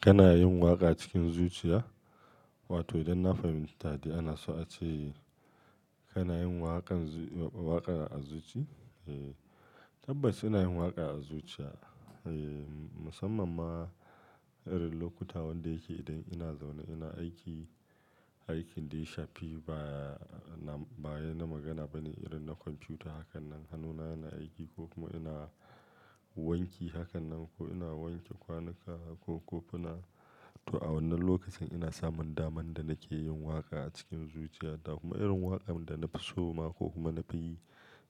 Kana yin waƙa cikin zuciya? Wato idan na fahimta da ana so a ce kana yin waƙan waƙa a zuci? Eee, tabbas ina yin waƙa a zuciya. Eee, musamman ma irin lokuta wanda yake idan ina zaune ina aiki, aikin dai shafi baya na baya na magana bane irin na kwamfuta hakan nan hannuna yana aiki ko kuma ina wanki hakan nan ko ina wanke kwanuka ko ko ina-- to a wannan lokacin ina samun daman da nake yin waƙa a cikin zuciya. Ta kuma irin waƙan da na fi soma ko kuma na fi yi